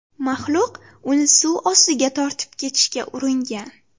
Maxluq uni suv ostiga tortib ketishga uringan.